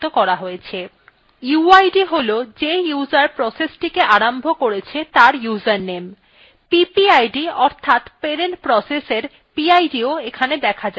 uid has যে user processটিকে আরম্ভ করেছে তার user name ppid অর্থাৎ parent processএর pidও এখানে দেখা যাচ্ছে